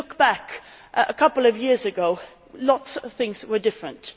If we look back, a couple of years ago lots of things were different.